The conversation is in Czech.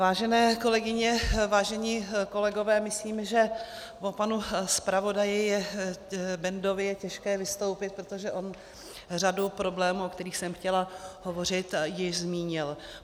Vážené kolegyně, vážení kolegové, myslím, že po panu zpravodaji Bendovi je těžké vystoupit, protože on řadu problémů, o kterých jsem chtěla hovořit, již zmínil.